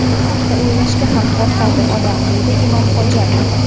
Bu haqda o‘ylashga ham qo‘rqadi odam”, deydi Imomxo‘jayev .